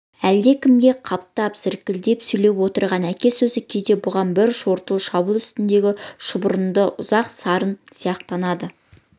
әлдекімге қаптап зіркілдеп сөйлеп отырған әке сөзі кейде бұған бір жортуыл шабуыл үстіндегі шұбырынды ұзақ сарын сияқтанады